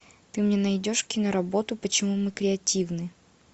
ты мне найдешь киноработу почему мы креативны